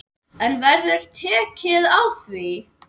En verður tekið á því?